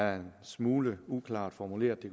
er en smule uklart formuleret det